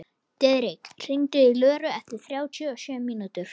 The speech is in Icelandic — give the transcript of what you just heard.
Diðrik, hringdu í Löru eftir þrjátíu og sjö mínútur.